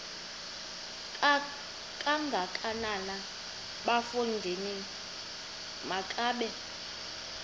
kangakanana bafondini makabe